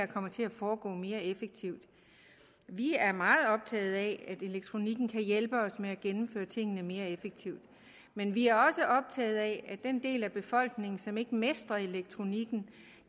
komme til at foregå mere effektivt vi er meget optaget af at elektronikken kan hjælpe os med at gennemføre tingene mere effektivt men vi er også optaget af at den del af befolkningen som ikke mestrer elektronikken